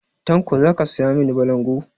Tanko za ka saya mani balangu?